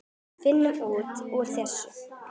Við finnum út úr þessu.